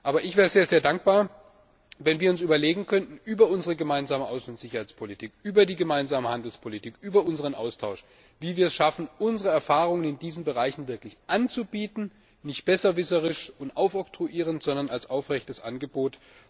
Aber ich wäre sehr dankbar, wenn wir uns überlegen könnten, wie wir es über unsere gemeinsame Außen und Sicherheitspolitik, über die gemeinsame Handelspolitik, über unseren Austausch schaffen, unsere Erfahrung in diesen Bereichen wirklich anzubieten, nicht besserwisserisch und oktroyierend, sondern als aufrechtes Angebot.